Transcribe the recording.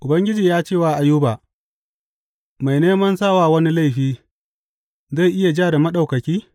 Ubangiji ya ce wa Ayuba, Mai neman sa wa wani laifi zai iya ja da Maɗaukaki?